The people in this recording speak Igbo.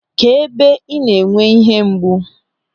Kedụ ebe ị na-enwe ihe mgbu?